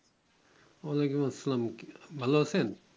য়া আলাইকুম আসসালাম ভালো আছেন